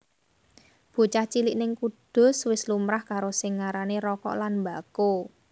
Bocah cilik ning Kudus wis lumrah karo sing arane rokok lan mbako